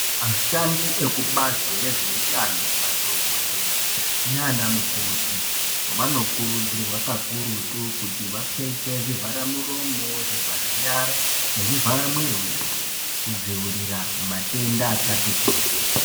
Ashandi ekubazi rezveutano madhokodheya nanamukoti vanokurudzirwa kakurutu kuti vapfeke zvivhara muromo ,zvivhara nyara nezvivhara mwiri weshe kudziwirira matenda akati kuti.